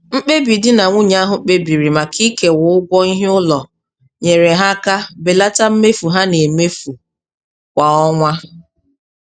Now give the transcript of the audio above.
Mkpebi di na nwunye ahụ kpebiri maka ikewa ụgwọ ihe ụlọ nyere ha aka belata mmefu ha na-emefu kwa ọnwa.